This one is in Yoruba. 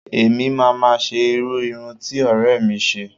Èmi náà máa ṣe irú irun ti ọ̀rẹ́ mi ṣe